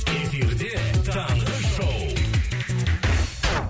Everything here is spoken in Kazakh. эфирде таңғы шоу